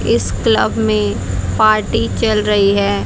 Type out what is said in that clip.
इस क्लब मे पार्टी चल रही है।